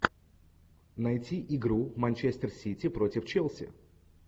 найти игру манчестер сити против челси